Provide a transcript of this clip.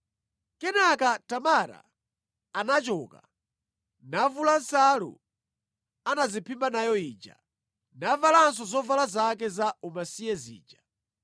Kenaka Tamara anachoka, navula nsalu anadziphimba nayo ija, navalanso zovala zake za umasiye zija.